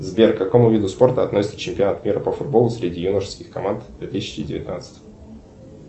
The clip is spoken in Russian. сбер к какому виду спорта относится чемпионат мира по футболу среди юношеских команд две тысячи девятнадцать